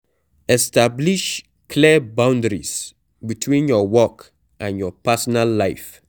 Establish clear boundaries between your work and your personal life